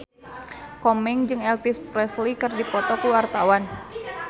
Komeng jeung Elvis Presley keur dipoto ku wartawan